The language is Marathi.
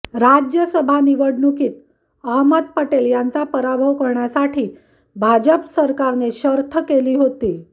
राज्यसभा निवडणुकीत अहमद पटेल यांचा पराभव करण्यासाठी भाजप सरकारने शर्थ केली होती